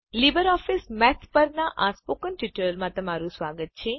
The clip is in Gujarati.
લીબરઓફીસ મેથ પરનાં આ સ્પોકન ટ્યુટોરીયલમાં તમારું સ્વાગત છે